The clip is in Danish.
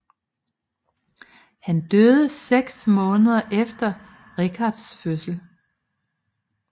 Han døde seks måneder efter Richards fødsel